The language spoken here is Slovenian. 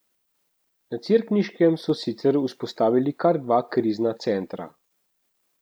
Na Cerkniškem so sicer vzpostavili kar dva krizna centra.